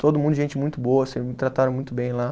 Todo mundo, gente muito boa assim, me trataram muito bem lá.